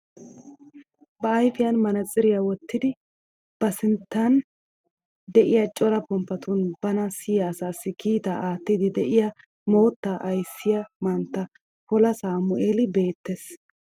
Ba ayfiyaan manaatsiriyaa wottidi ba sinttan de'iyaa cora pomppatun bana siyiyaa asaassi kiittaa aattiidi de'iyaa moottaa ayssiyaa mantta poola saamueeli beettees.